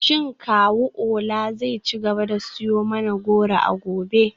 Shin kawu Ola zai ci gaba da siyo mana goro a gobe?